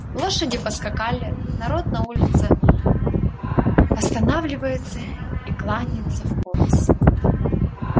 лошади поскакали народ на улице останавливается и кланялся в пояс